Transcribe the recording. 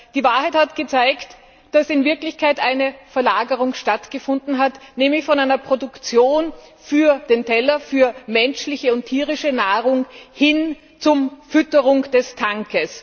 Aber die Wahrheit hat gezeigt, dass in Wirklichkeit eine Verlagerung stattgefunden hat, nämlich von einer Produktion für den Teller für menschliche und tierische Nahrung hin zur Fütterung des Tanks.